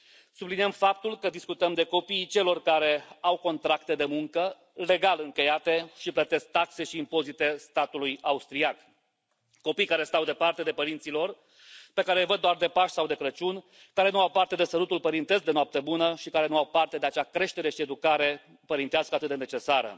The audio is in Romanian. Subliniem faptul că discutăm de copiii celor care au contracte de muncă legal încheiate și plătesc taxe și impozite statului austriac, copii care stau departe de părinții lor, pe care îi văd doar de Paști sau de Crăciun, care nu au parte de sărutul părintesc de noapte bună și care nu au parte de acea creștere și educare părintească atât de necesară.